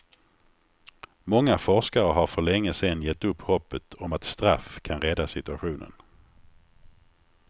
Många forskare har för länge sedan gett upp hoppet om att straff kan rädda situationen.